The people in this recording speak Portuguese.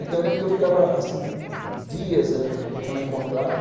Então eu lembro que eu ficava, assim, dias tentando encontrar.